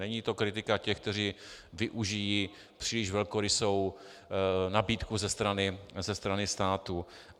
Není to kritika těch, kteří využijí příliš velkorysou nabídku ze strany státu.